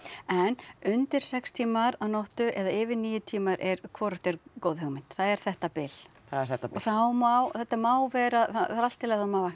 en undir sex tímar á nóttu eða yfir níu tímar er hvorugt góð hugmynd það er þetta bil það er þetta bil og þá má þetta má vera það er allt í lagi þótt maður vakni